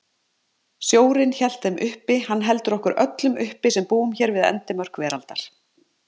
Sjórinn hélt þeim uppi, hann heldur okkur öllum uppi sem búum hér við endimörk veraldar.